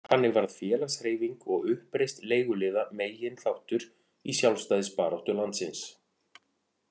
Þannig varð félagshreyfing og uppreisn leiguliða meginþáttur í sjálfstæðisbaráttu landsins.